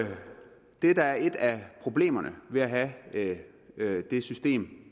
det der er et af problemerne ved at have det system